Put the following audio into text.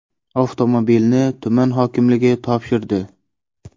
Avtomobilni tuman hokimligi topshirdi.